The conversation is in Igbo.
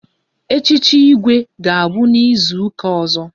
Echichi Igwe ga-abụ n'izuka ọzọ